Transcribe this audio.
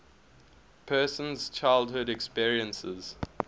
person's childhood experiences